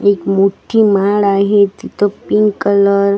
एक मोठी माळ आहे तिथं पिंक कलर --